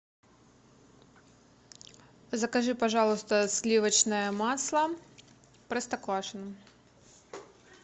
закажи пожалуйста сливочное масло простоквашино